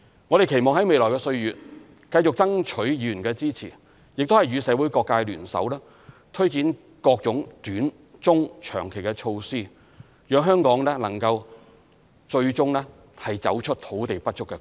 我們期望在未來的歲月，繼續爭取議員的支持，亦與社會各界聯手，推展各種短、中、長期措施，讓香港最終能夠走出土地不足的困局。